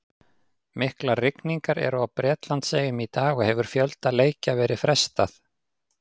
Miklar rigningar eru á Bretlandseyjum í dag og hefur fjölda leikja verið frestað.